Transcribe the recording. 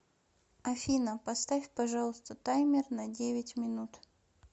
афина поставь пожалуйста таймер на девять минут